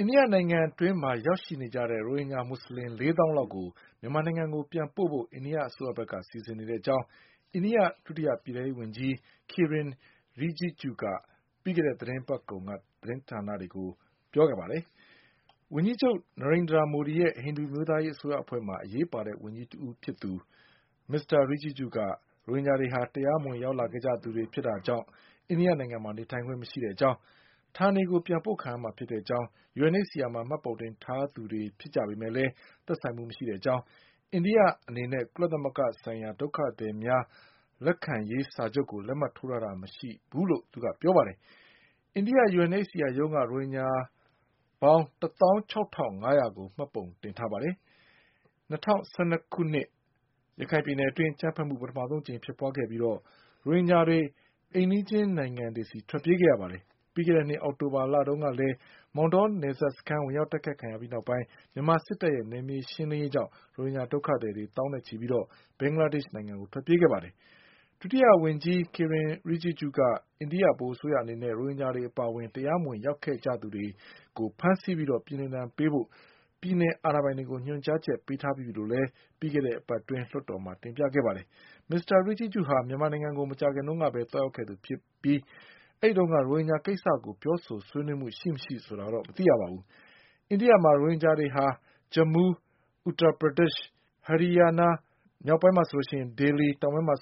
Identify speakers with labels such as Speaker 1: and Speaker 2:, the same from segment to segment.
Speaker 1: အိန္ဒိယနိုင်ငံအတွင်းရောက်ရှိနေကြတဲ့ ရိုဟင်ဂျာမွတ်ဆလင် ၄သောင်းလောက်ကို မြန်မာနိုင်ငံကို ပြန်ပို့ဖို့ အိန္ဒိအစိုးရက စီစဉ်နေတဲ့အကြောင်း အိန္ဒိယဒုတိယပြည်ထဲရေးဝန်ကြီး Kiren Rijijuက ပြီးခဲ့တဲ့သီတင်းပတ်ကုန်က သတင်းဌာနတွေကို ပြောပါတယ်။ ဝန်ကြီးချုပ် နာရိန်ဒြာမိုဒီရဲ့ ဟိန္ဒူအမျိုး သားရေးအစိုးရအဖွဲ့မှာ အရေးပါတဲ့ဝန်ကြီးတဦးဖြစ်သူ မစ္စတာ Rijiju က ရိုဟင်ဂျာတွေဟာ တရားမဝင်လာရောက်ခဲ့ ကြသူတွေဖြစ်တာကြောင့် အိန္ဒိယမှာနေထိုင်ခွင့်မရှိကြောင်း၊ ဌာနေ ကိုပြန်ပို့ခံရမှာဖြစ်ကြောင်း၊ UNHCR မှာ မှတ်ပုံတင် ထားသူတွေဖြစ်ပေမဲ့ မသက်ဆိုင်ကြောင်း၊ အိန္ဒိယအနေနဲ့ ကုလသ မဂ္ဂဆိုင်ရာ ဒုက္ခသည်များလက်ခံရေးစာချုပ်ကို လက်မှတ် ရေးထိုးထားတာမရှိကြောင်း သူကပြောပါတယ်။ အိန္ဒိယ UNH CR ရုံးက ရိုဟင်ဂျာပေါင်း ၁သောင်း၆ထောင့် ၅ရာကို မှတ်ပုံတင်ထားပါတယ်။ ၂၀၁၂ခု ရခိုင်ပြည်နယ်အတွင်း အကြမ်း ဘက်မှု ပထမအကြိမ်ဖြစ်ပွါးပြီး ရိုဟင်ဂျာတွေ အိမ်နီးချင်းနိုင်ငံတွေဆီ ထွက်ပြေးခဲ့ကြပါတယ်။ ပြီးခဲ့တဲ့နှစ် အောက်တိုဘာ လတုန်းကလည်း မောင်တောနယ်စပ်စခန်း ဝင်ရောက်တိုက်ခိုက်ခံရပြီးနောက်ပိုင်း မြန်မာစစ်တပ်ရဲ့ နယ်မြေရှင်းလင်းရေး ကြောင့်ရိုဟင်ဂျာဒုက္ခသည် သောင်းနဲ့ချီ ပြီး ဘင်္ဂလားဒေ့ရှ်ကို ထွက်ပြေးခဲ့ကြပါတယ်။ ဒုတိယဝန်င်္ကြီး Kiren Rijijuက အိန္ဒိဗဟိုအစိုးရအနေနဲ့ ရိုဟင်ဂျာတွေအပါ အဝင် တရားမဝင်ရောက်နေကြသူတွေကို ဖမ်းဆီးပြီးပြည်နှင်ဒဏ်ပေးဖို့ ပြည်နယ်အာဏာပိုင်တွေကို ညွှန်ကြားချက်ပေး ထားပြီးပြီလို့ ပြီးခဲ့တဲ့အပတ်အတွင်း လွှတ်တော်မှာ တင်ပြခဲ့ပါတယ်။မစ္စတာ Rijiju ဟာ မြန်မာနိုင်ငံကို မကြာခင်ကပဲ သွားရောက်ခဲ့သူဖြစ်ပေမဲ့ အဲဒီတုန်းက ရိုဟင်ဂျာကိစ္စကို ပြောဆိုဆွေး နွေးမှုရှိမရှိတော့ မသိရပါဘူး။ အိန္ဒိယမှာ ရိုဟင်ဂျာ တွေဟာ Jammu, Uttarpradesh, Haryanaနဲ့ မြောက်ပိုင်းမှာ Delhi တောင်ပိုင်းမှာ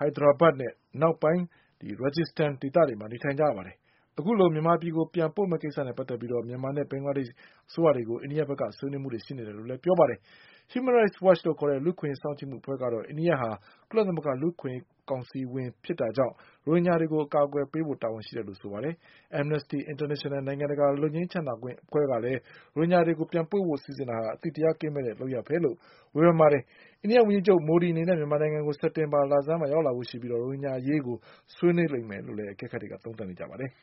Speaker 1: Hyderabad အနောက်ပိုင်းမှာ Rajasthan ဒေသတွေမှာ နေထိုင်ကြပါတယ်။ အခုလို မြန်မာပြည်ကိုပြန်ပို့ မယ့်ကိစ္စနဲ့ပတ်သက်ပြီး မြန်မာနဲ့ ဘင်္ဂလားဒေ့ရှ်အစိုးရတွေကို အိန္ဒိယဘက်ကဆွေးနွေးနေတယ်လို့ဆိုပါတယ်။ Human rights Watch လူ့အခွင့်အရေးစောင့်ကြည့်မှု အဖွဲ့ကတော့ အိန္ဒိယဟာ ကုလသမဂ္ဂလူ့အခွင့်အရေးကောင်စီဝင်ဖြစ်တာ ကြောင့် ရိုဟင်ဂျာတွေကို အကာအကွယ်ပေးဖို့ တာဝန်ရှိတယ်လို့ဆိုပါတယ်။ Amnesty International နိုင်ငံတကာ လွတ်ငြိမ်းချမ်းသာခွင့်အဖွဲ့ကလည်း ရိုဟင်ဂျာတွေကို ပြန်ပို့ဖို့စီစဉ်တာဟာ အသိတရားကင်းမဲ့တဲ့လုပ်ရပ်ပဲလို့ ဝေဖန်ပါ တယ်။ အိန္ဒိယဝန်ကြီးချုပ် မိုဒီအနေနဲ့ မြန်မာနိုင်ငံကို စက်တင်ဘာလဆန်းမှာ ရောက်လာဖို့ရှိပြီး ရိုဟင်ဂျာအရေးဆွေး နွေးလိမ့်မယ်လို့လည်း အကဲခတ်တွေက သုံးသတ်ကြပါတယ်။